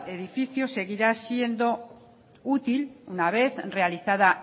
edificio seguirá siendo útil una vez realizada